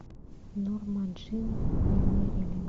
норма джин и мерилин